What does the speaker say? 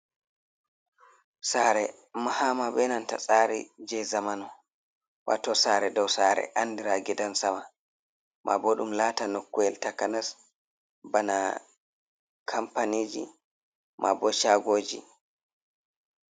Sare mahama benanta tsari je zamanu wato sare dou sare andira gidan sama mabo ɗum lata nokuyel ta kanas bana kampaniji maabo shagoji.